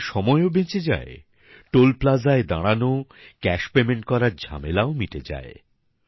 এতে সময়ও বেঁচে যায় টোল প্লাজায় দাঁড়ানো ক্যাশ পেমেন্ট করার ঝামেলা মিটে যায়